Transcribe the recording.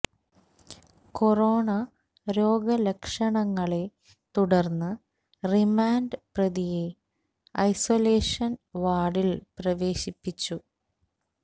corona രോഗ ലക്ഷണങ്ങളെ തുടർന്ന് റിമാൻഡ് പ്രതിയെ ഐസൊലേഷൻ വാർഡിൽ പ്രവേശിപ്പിച്ചു